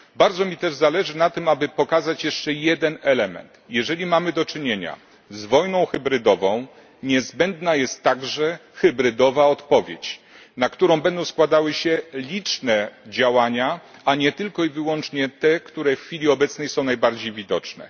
Bardzo mi też zależy na tym, aby pokazać jeszcze jeden element jeżeli mamy do czynienia z wojną hybrydową, niezbędna jest także hybrydowa odpowiedź, na którą będą składały się liczne działania, a nie tylko i wyłącznie te, które w chwili obecnej są najbardziej widoczne.